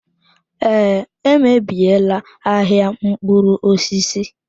Ee, emebiela ahịa mkpụrụ osisi.